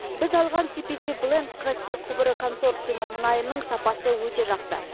біз алған сиписи бленд каспий құбыры консорциумы мұнайының сапасы өте жақсы